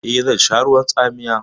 Eh, zan sha ruwan tsamiya.